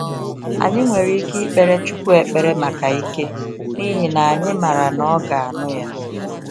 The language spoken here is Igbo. Anyị nwere ike ikpere chukwu ekpere maka ike, n'ihi na anyị mara na ọga anụ ya.